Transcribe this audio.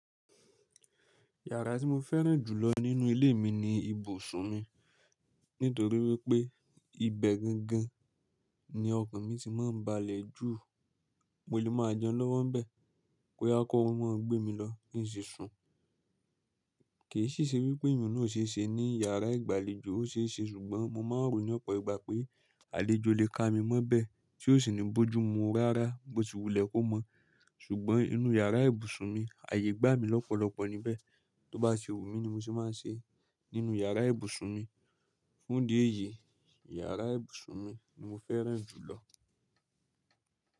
Yàrá tí mo fẹ́ràn jù lọ nínú ilé mi ni ibùsùn mi nítorí wípé ibẹ̀ gangan ni ọkan mi ti máa ń balẹ̀ jù, mo lè máa jẹun lọ́wọ́ bẹ̀, bóyá kọ orún bá gbé mi lọ, kí n sì sùn. Kì í sì ṣe wípé ìrònú ò ṣe é ṣe ní yàrá ìgbàlejò, ó ṣe é ṣe ṣùgbọ́n mo máa ń rò ní ọ̀pọ̀ ìgbà pé àlejò lè ka mi mọ́ bẹ̀ tí ó sì ní bojú mu rárá bó ti wulẹ̀ kó mọ̀. Ṣùgbọ́n inú yàrá ìbùsùn mi, ààyè gbá mi lọ́pọ̀lọpọ̀ níbẹ̀, tó bá ti wu mi ni mo ṣe máa ń ṣe nínú yàrá ìbùsùn mi. Fún ìdí ẹ̀yí, yàrá ìbùsùn mi ni mo fẹ́ràn jù lọ.